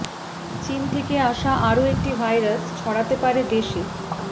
চিন থেকে আসা আরও একটি ভাইরাস ছড়াতে পারে দেশে